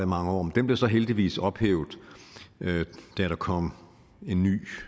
mange år den blev så heldigvis ophævet da der kom en ny